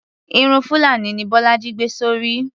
Irun fulani ni bólájí gbé sórí.